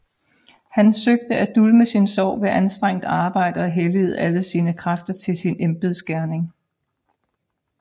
Han søgte at dulme sin sorg ved anstrengt arbejde og helligede alle sine kræfter til sin embedsgerning